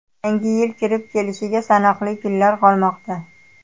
Yangi yil kirib kelishiga sanoqli kunlar qolmoqda.